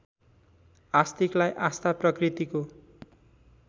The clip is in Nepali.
आस्तिकलाई आस्था प्रकृतिको